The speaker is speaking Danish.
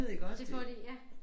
Det får de ja